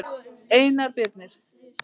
Einar Birnir.